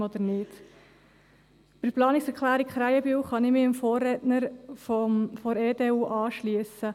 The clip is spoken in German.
Bei der Planungserklärung Krähenbühl kann ich mich meinem Vorredner von der EDU anschliessen.